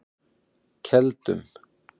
Keldum